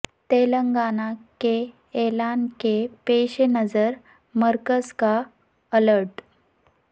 تلنگانہ کے اعلان کے پیش نظر مرکز کا الرٹ